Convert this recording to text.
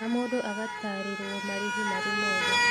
Na mũndũ agatarĩrwo marĩhĩ marĩ mothe